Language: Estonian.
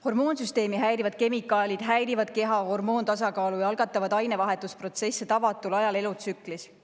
Hormoonsüsteemi häirivad kemikaalid häirivad keha hormoontasakaalu või algatavad ainevahetusprotsesse tavatul ajal elutsüklis.